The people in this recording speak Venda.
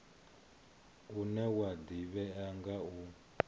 une wa ḓivhea nga u